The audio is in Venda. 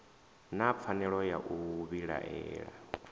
na pfanelo ya u vhilaela